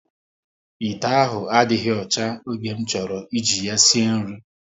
Ite ahụ adịghị ọcha, oge m chọrọ ị ji ya sie nri